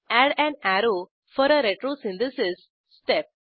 add an arrow for a retrosynthesis step